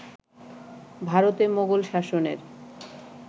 ভারতে মোঘল শাসনের